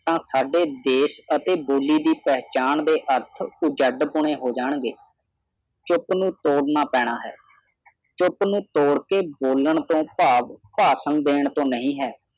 ਤਾਂ ਸਾਡੇ ਦੇਸ਼ ਅਤੇ ਬੋਲੀ ਦੀ ਪਹਿਚਾਣ ਦੇ ਅਰਥ ਉਜੜ ਪਣੇ ਹੋ ਜਾਣਗੇ ਚੁੱਪ ਨੂੰ ਤੋੜ ਨਾ ਪੈਣਾ ਹੈ ਚੁੱਪ ਨੂੰ ਤੋੜ ਕੇ ਬੋਲਣ ਤੋਂ ਭਾਵ ਭਾਸ਼ਣ ਦੇਣ ਤੋਂ ਨਹੀਂ ਹੈ